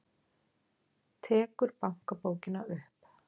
Tekur bankabókina upp.